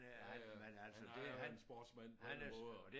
Øh han er jo en sportsmand på alle måder